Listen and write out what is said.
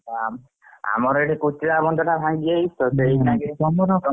ହ ଆମର ଏଠି କୋଶୀଲା ବନ୍ଧ ଟା ଭାଙ୍ଗି ଯାଇଛି ସେଥିଲାଗି ।